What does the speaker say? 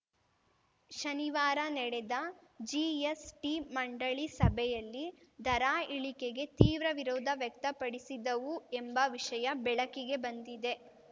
ಶನಿವಾರ ನಡೆದ ಜಿಎಸ್‌ಟಿ ಮಂಡಳಿ ಸಭೆಯಲ್ಲಿ ದರ ಇಳಿಕೆಗೆ ತೀವ್ರ ವಿರೋಧ ವ್ಯಕ್ತಪಡಿಸಿದ್ದವು ಎಂಬ ವಿಷಯ ಬೆಳಕಿಗೆ ಬಂದಿದೆ